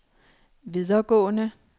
videregående